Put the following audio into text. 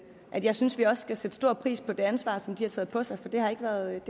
at jeg synes vi også skal sætte stor pris på det ansvar som de har taget på sig for det har ikke været nemt